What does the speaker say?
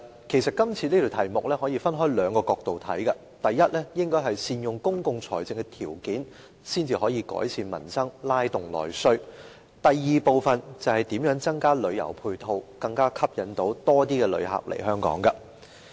其實，這項議題可以從兩個角度來看，第一是善用公共財政條件，才能夠改善民生，拉動內需；第二是如何增加旅遊配套，吸引更多旅客來港。